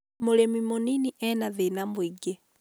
mũrĩmi mũnĩnĩ ena thĩna mũingĩ